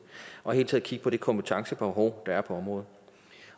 og hele taget kigger på det kompetencebehov der er på området